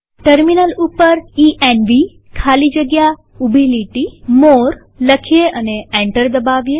terminal ઉપર ENV ખાલી જગ્યા ઉભી લીટી મોરે લખીએ અને એન્ટર દબાવીએ